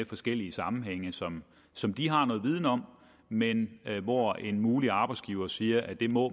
forskellige sammenhænge som som de har noget viden om men hvor en mulig arbejdsgiver siger at det må